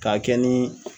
K'a kɛ ni